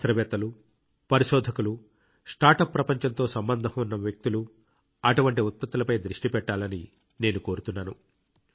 శాస్త్రవేత్తలు పరిశోధకులు స్టార్ట్అప్ ప్రపంచంతో సంబంధం ఉన్న వ్యక్తులు అటువంటి ఉత్పత్తులపై దృష్టి పెట్టాలని నేను కోరుతున్నాను